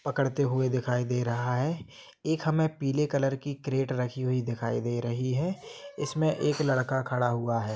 पकड़ते हुए दिखाई दे रहा है एक हमे पीले कलर की क्रेट रखी हुई दिखाई दे रही है इसमे एक लड़का खड़ा हुआ है।